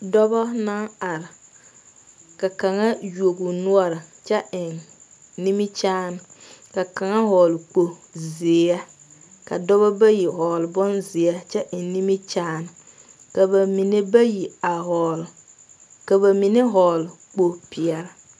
Dɔɔba naŋ are ka kaŋ yoɔ o nore kyɛ eŋ nimikyaane ka kaŋ vɔgle kpo ziɛ ka dɔɔba bayi vɔgle bon ziɛ kyɛ eŋ nimikyaane ka ba mine bayi a vɔgle, ka ba mine vɔgle kpo peɛle.